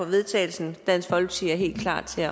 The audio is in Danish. vedtagelse dansk folkeparti er helt klar til